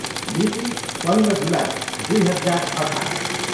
मिति, पन्ध्र जुलाई दुई हजार अठाह्र।